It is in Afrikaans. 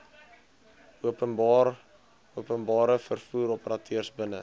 openbare vervoeroperateurs binne